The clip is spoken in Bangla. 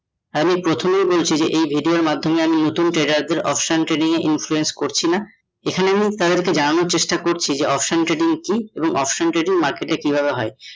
হ্যা প্রথমে বলছি এই video ওর মধ্যমে আমি নতুন trader দের option trading এ influence করছি না এখানে আমি তাদের জানানো চেষ্টা করছি option trading কী এবং option trading market এ কিভাবে হয়?